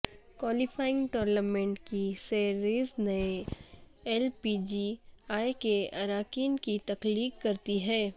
qualifying tournament کی series نئے L P G A کے اراکین کی تخلیق کرتی ہے